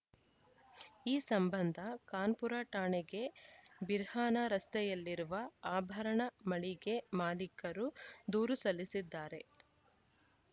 ಈ ಸಂಬಂಧ ಕಾನ್ಪುರ ಠಾಣೆಗೆ ಬಿರ್ಹಾನ ರಸ್ತೆಯಲ್ಲಿರುವ ಆಭರಣ ಮಳಿಗೆ ಮಾಲೀಕರು ದೂರು ಸಲ್ಲಿಸಿದ್ದಾರೆ